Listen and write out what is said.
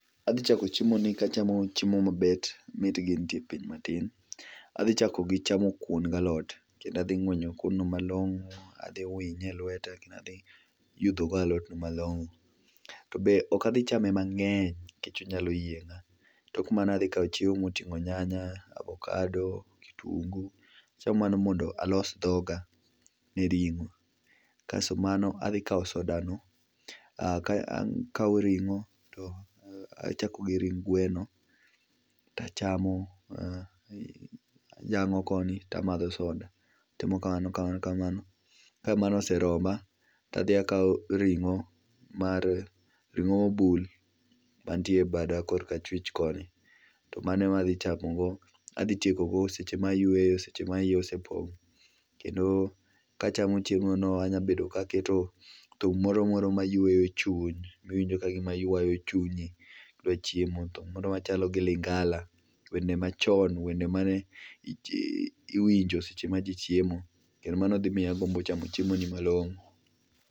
Adhi chako chiemoni kachamo chiemo mabet mitgi nitie piny matin, adhi chako gi chamo kuon galot, kendo adhi ngwenyo kuon no malongo, adhi winye elweta then adhi winyo go alot malongo, to be ok adhichame mangeny nikech onyalo yienga. Tok mano adhi kao chiemo motingo nyanya, avokado, kitungu, achamo mano mondo alos dhoga gi ringo. Kasto mano, adhi kao soda no, akao ringo to achako gi ring gweno tachamo koni tamadho soda, atimo kamano kamano, ka mano oseroma tadhi akao ringo mar, ringo mobul mantie bada korka achwich koni to mano ema adhi chakogo ema adhi tieko go seche ma ayweyo ,seche ma iya osepong kendo kachamo chiemo no anya bedo ka aketo thum moro mayweyo chuny, miwinj kagima ywayo chunyi kachieo, moro machalo gi lingala, wende machon, wende mane iwinjo sech ema jii chiemo kendo mano dhi miyo agombo chamo chiemo ni malongo